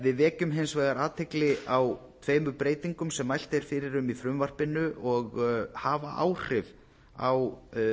við vekjum hins vegar athygli á tveimur breytingum sem mælt er fyrir um í frumvarpinu og hafa áhrif á